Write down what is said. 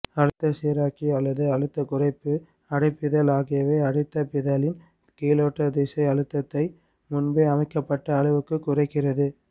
அழுத்த சீராக்கி அல்லது அழுத்த குறைப்பு அடைப்பிதழ் ஆகியவை அடைப்பிதழின் கீழோட்டதிசை அழுத்தத்தை முன்பே அமைக்கப்பட்ட அளவுக்குக் குறைக்கிறது